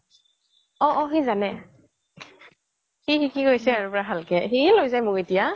অহ্' অহ্' সি জানে চলাব সি সিকি গৈছে পোৰা ভালকে সিয়ে লৈ যায় মোক এটিয়া